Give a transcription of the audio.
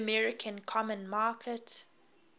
american common market